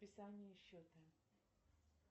списание счета